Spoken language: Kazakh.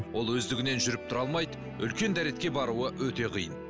ол өздігінен жұріп тұра алмайды үлкен дәретке баруы өте қиын